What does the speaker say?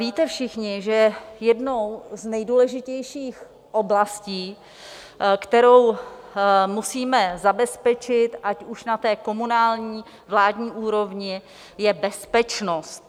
Víte všichni, že jednou z nejdůležitějších oblastí, kterou musíme zabezpečit ať už na té komunální, vládní úrovni, je bezpečnost.